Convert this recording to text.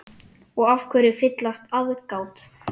Og af hverju fyllsta aðgát?